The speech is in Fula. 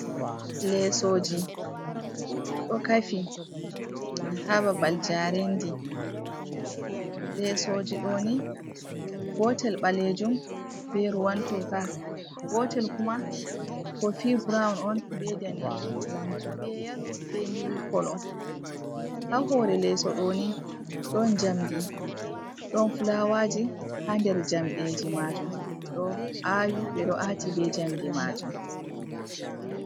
Lesoji, ɗo kafi ha babal jarendi, lesoji ɗo ni gotel ɓalejum ɓe ruwan toka, gotel kuma kofi brown on ɓe danejum ɓe yalo ɓe mili kolo. Ha hore leso ɗo ni ɗon jamdi ɗon fulawaji ha nder jamɗe ji majun ɓeɗo awi, ɓeɗo ati ɓe jamdi majun.